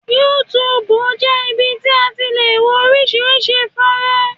YouTube jẹ́ ibi tí a ti le wo oríṣiríṣi fọ́nrán.